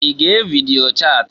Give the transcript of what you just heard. I ga evidio chati?